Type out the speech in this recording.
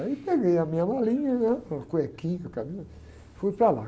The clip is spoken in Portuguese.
Aí peguei a minha malinha, né? Com a cuequinha que eu, fui para lá.